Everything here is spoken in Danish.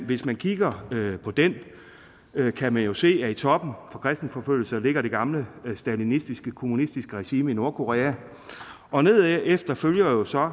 hvis man kigger på den kan man jo se at i toppen for kristenforfølgelser ligger det gamle stalinistiske kommunistiske regime i nordkorea og nedefter følger så